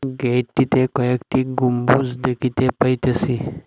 Gate -টিতে কয়েকটি গম্বুজ দেখিতে পাইতেসি।